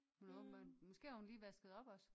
Hun er åbenbart måske har hun lige vasket op også